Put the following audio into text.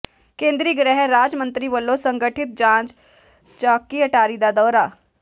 ਕੇਂਦਰੀ ਗ੍ਰਹਿ ਰਾਜ ਮੰਤਰੀ ਵੱਲੋਂ ਸੰਗਠਿਤ ਜਾਂਚ ਚੌਾਕੀ ਅਟਾਰੀ ਦਾ ਦੌਰਾ